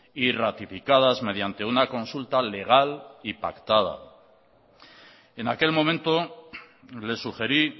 y ratificadas mediante una consulta legal y pactada en aquel momento le sugerí